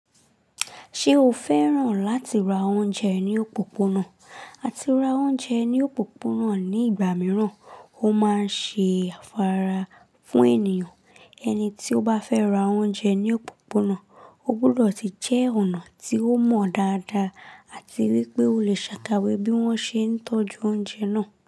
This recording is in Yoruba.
Ṣé o fẹ́ràn láti ra oúnjẹ ní òpópónà? Àti ra oúnjẹ ní òpópónà ní ìgbà mìíràn ó máa ń ṣe afárá fún ènìyàn. Ẹni tí ó bá fẹ́ ra oúnjẹ ní òpópónà, ó gbọ́dọ̀ ti jẹ́ ọ̀nà tí ó mọ dáadáa àti wípé o lè ṣàkọwé bí wọ́n ṣe ń tọ́jú oúnjẹ náà.